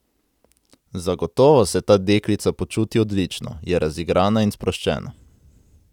Zagotovo se ta deklica počuti odlično, je razigrana in sproščena.